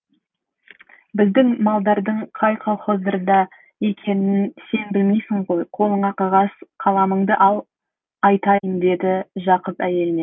біздің малдардың қай колхоздарда екенін сен білмейсің ғой қолыңа қағаз қаламыңды ал айтайын дейді жақып әйеліне